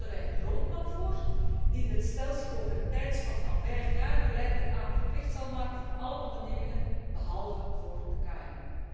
En daarom stellen wij een road map voor die het stelsel over een tijdspanne van vijf jaar geleidelijk verplicht zal maken voor alle ondernemingen, behalve voor de KMO.